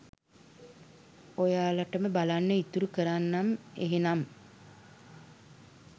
ඔයාලටම බලන්න ඉතුරු කරන්නම් එහෙනම්.